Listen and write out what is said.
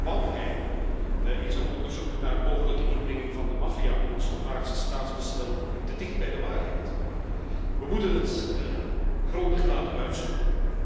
Kwam hij in zijn onderzoek naar mogelijke inmenging van de maffia in het Slowaakse staatsbestel te dicht bij de waarheid? We moeten het grondig laten uitzoeken.